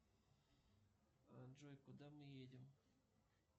джой куда мы едем